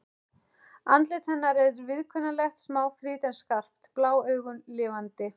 Andlit hennar er viðkunnanlegt, smáfrítt en skarpt, blá augun lifandi.